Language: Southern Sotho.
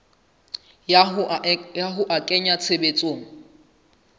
ya ho a kenya tshebetsong